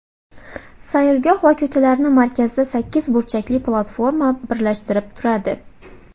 Saylgoh va ko‘chalarni markazda sakkiz burchakli platforma birlashtirib turadi.